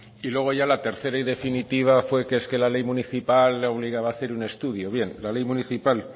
y luego ya la tercera y definitiva fue que es que la ley municipal le obligaba a hacer un estudio bien la ley municipal